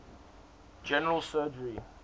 general surgery